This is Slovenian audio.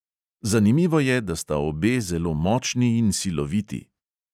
Zanimivo je, da sta obe zelo močni in siloviti.